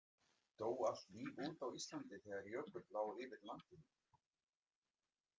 Dó allt líf út á Íslandi þegar jökull lá yfir landinu?